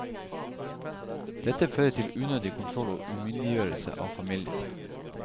Dette fører til unødig kontroll og umyndiggjørelse av familier.